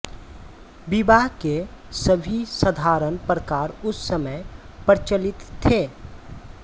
विवाह के सभी साधारण प्रकार उस समय प्रचलित थे